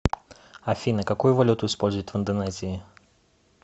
афина какую валюту используют в индонезии